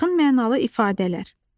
Yaxın mənalı ifadələr.